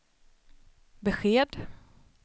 besked